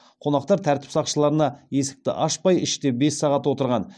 қонақтар тәртіп сақшыларына есікті ашпай іште бес сағат отырған